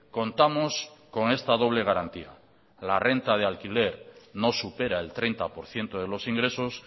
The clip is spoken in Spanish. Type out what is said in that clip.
contamos con esta doble garantía la renta de alquiler no supera el treinta por ciento de los ingresos